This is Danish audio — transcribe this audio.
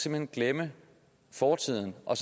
hen glemme fortiden og